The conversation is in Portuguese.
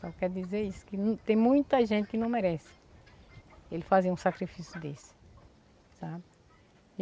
Só quero dizer isso, que tem muita gente que não merece ele fazer um sacrifício desse, sabe?